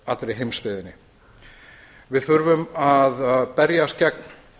allri heimsbyggðinni við þurfum að berjast gegn